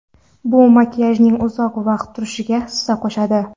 Bu makiyajning uzoq vaqt turishiga hissa qo‘shadi.